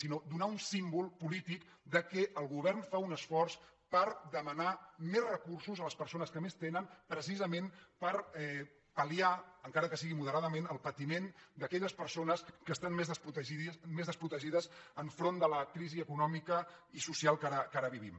sinó donar un símbol polític que el govern fa un esforç per demanar més recursos a les persones que més tenen precisament per pal·liar encara que sigui moderadament el patiment d’aquelles persones que estan més desprotegides davant de la crisi econòmica i social que ara vivim